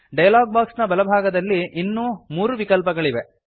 dialog box ನ ಬಲಭಾಗದಲ್ಲಿ ಇನ್ನೂ ಮೂರು ವಿಕಲ್ಪಗಳಿವೆ